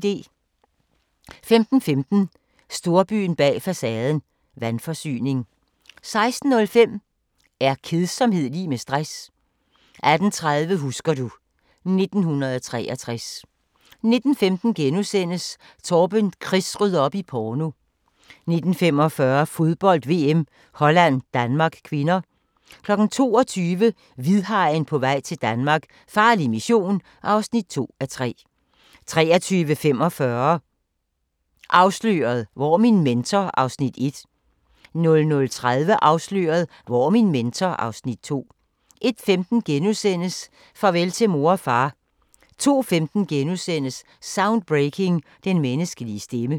15:15: Storbyen bag facaden – vandforsyning 16:05: Er kedsomhed lig med stress? 18:30: Husker du... 1963 19:15: Torben Chris rydder op i porno * 19:45: Fodbold: VM - Holland-Danmark (k) 22:00: Hvidhajen på vej til Danmark - farlig mission (2:3) 23:45: Afsløret – Hvor er min mentor? (Afs. 1) 00:30: Afsløret – Hvor er min mentor? (Afs. 2) 01:15: Farvel til mor og far * 02:15: Soundbreaking – Den menneskelige stemme *